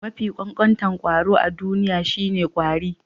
Mafi ƙanƙanta kwaro a duniya shine ƙwari.